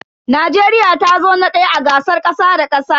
Najeriya tazo na daya a gasar kasa da kasa.